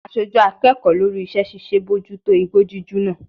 Aṣojú akẹ́kọ̀ọ́ lórí iṣẹ́ ṣíṣe bójú tó igbó jíjù náà.